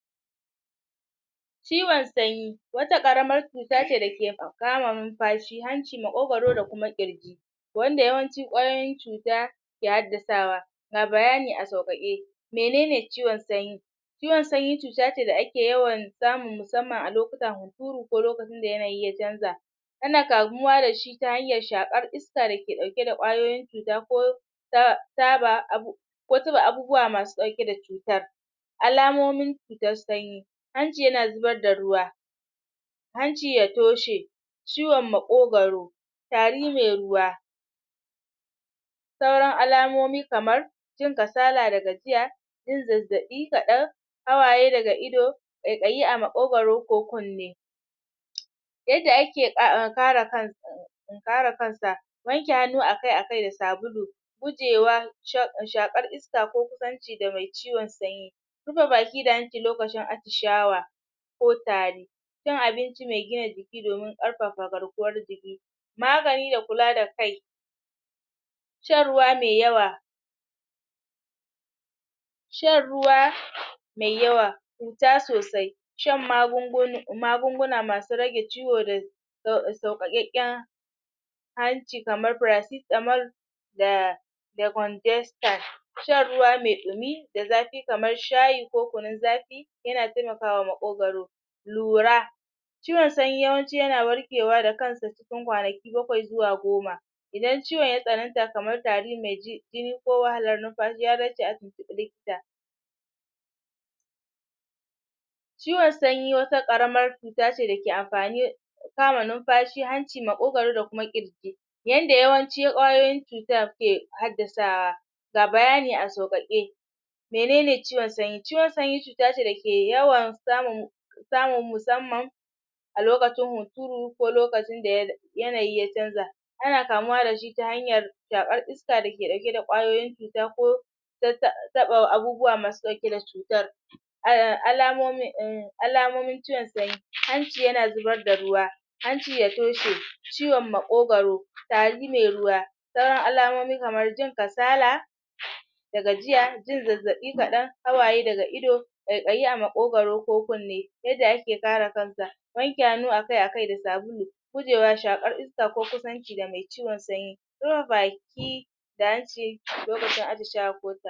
ciwon sanyi wata ƙaramar cuta ce dake kama numfashi hanci, maƙogaro da kuma ƙirji wanda yawanci ƙwayoyin cuta ke haddasawa ga bayani a sauƙaƙe menene ciwon sanyi ciwon sanyi cuta ce da ake yawan samu musamman a lokutan huturu ko lokacin da yanayi ya canza ana kamuwa da shi ta hanyar shaƙar is ka dake ɗauke da ƙwayoyin cuta ko ta taba abu ko taɓa abubuwa masu ɗauke da cutar alamomin cutar sanyi hanci yana zubar da ruwa hanci ya toshe ciwon maƙogaro tari me ruwa sauran alamomi kamar jin kasala da gajiya yin zazzaɓi kaɗan hawaye daga ido ƙaiƙayi a maƙogaro ko kunne yanda ake um kare kai kare kan sa wanke hannu akai-akai da sabulu gujewa um shaƙar iska ko kusanci da me ciwon sanyi rufe baki da hanci lokacin atishawa ko tari cin abinci me gina jiki domin ƙarfafa garkuwar jiki magani da kula da kai shan ruwa me yawa shan ruwa mai yawa fita sosai shan magunguna masu rage ciwo da sauƙaƙeƙƙen kamar paracetamol da decongestant shan ruwa me ɗumi kamar shayi ko kunun zafi yana temakawa maƙogaro lura ciwon sanyi yawanci yana warkewa da kansa cikin kwanaki bakwai zuwa goma idan ciwon ya tsananta kamar tari me jini ko wahalar numfashi ya dace a tuntuɓi likita ciwon sanyi wata ƙaramar cuta da ce da ke amfani ta kama numfashi, hanci, maƙogaro da kuma ƙirji yanda yawanci ƙwayoyin cutar ke haddasa ga bayani a sauƙaƙe menene ciwon sanyi, ciwon sanyi cuta ce da ke yawan samun musamman a lokacin hunturu ko lokacin da yanayi ya canza ana kamuwa da shi ta hanyar shaƙar iska dake ɗauke da ƙwayoyin cuta ko um taɓa abubuwa masu ɗauke da cutar um alamomin um alamomin ciwon sanyi hanci yana zubar da ruwa hanci ya toshe ciwon maƙogaro tari me ruwa sauran alamomi kamar jin kasala da gajiya jin zazzaɓi kaɗan hawaye daga ido ƙaiƙayi a maƙogaro ko kunne yadda ake kare kan sa wanke hannu akai-akai da sabulu guje wa shaƙar iska ko kusanci da me ciwon sanyi rufe baki da hanci lokacin atishawa ko tari